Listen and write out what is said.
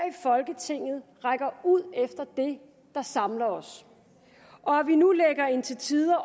folketinget rækker ud efter det der samler os og at vi nu lægger en til tider